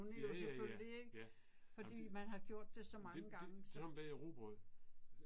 Ja ja ja. Ja. Jamen det det. Sådan bager jeg rugbrød